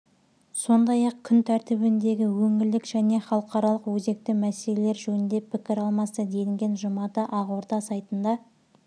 сондай-ақ күн тәртібіндегі өңірлік және халықаралық өзекті мәселелер жөнінде пікір алмасты делінген жұмада ақорда сайтында